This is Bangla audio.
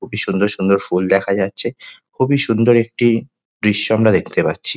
খুবই সুন্দর সুন্দর ফুল দেখা যাচ্ছে খুবই সুন্দর একটি দৃশ্য আমরা দেখতে পাচ্ছি।